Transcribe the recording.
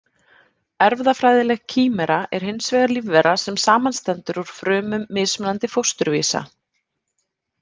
Erfðafræðileg kímera er hins vegar lífvera sem samanstendur úr frumum mismunandi fósturvísa.